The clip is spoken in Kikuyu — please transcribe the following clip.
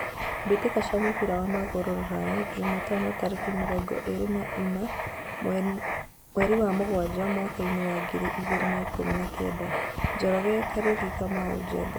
Mbĩtĩka cia mũbira wa magũrũ Ruraya Jumatano tarĩki mĩrongo ĩrĩ na ĩna mweri wa mugwanja mwakainĩ wa ngiri igĩrĩ na ikũmi na kenda: Njoroge, Kariuki, Kamau, Njenga.